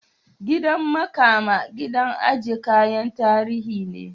Gidan makama gidan aje kayan tarihi ne.